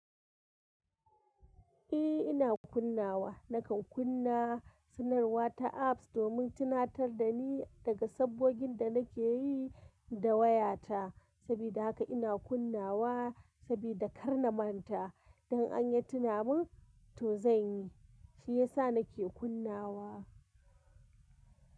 Eh ina kunnawa. Nakan kunna sanarwa ta apps domin tunatar da ni daga sabgogin da nake yi da wayata. Sabida haka ina kunnawa sabida kar na manta. Dan an yi tunamun, to zan yi, shi ya sa nake kunnawa.